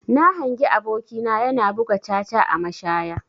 Na hangi aboki na yana buga caca a mashaya.